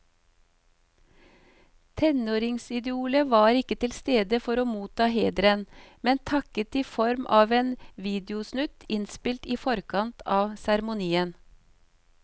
Tenåringsidolet var ikke til stede for å motta hederen, men takket i form av en videosnutt innspilt i forkant av seremonien.